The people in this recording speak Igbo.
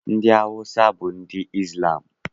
Ndị Awụsa bụ ndị Izlam